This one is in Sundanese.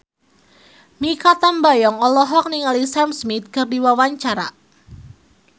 Mikha Tambayong olohok ningali Sam Smith keur diwawancara